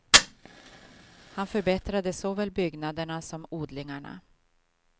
Han förbättrade såväl byggnaderna som odlingarna.